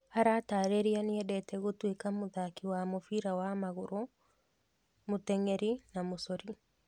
Aratarĩria nĩendete gũtwika mũthaki wa mũbira wa magũrũ, mũteng'eri na múcori.